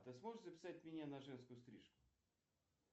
ты сможешь записать меня на женскую стрижку